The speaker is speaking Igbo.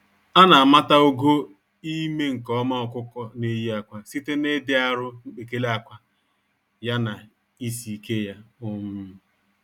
Ana amata ogo ime-nke-ọma ọkụkọ n'eyi ákwà site na ịdị arụ mkpekele ákwà, ya na isi-ike ya. um